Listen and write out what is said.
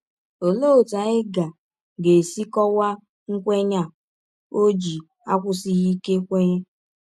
Ọlee ọtụ anyị ga ga - esi kọwaa nkwenye a ọ ji akwụsighị ike kwenye?